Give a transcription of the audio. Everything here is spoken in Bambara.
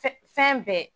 Fɛn fɛn bɛɛ